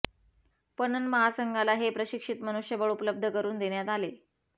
पणन महासंघाला हे प्रशिक्षित मनुष्यबळ उपलब्ध करून देण्यात आले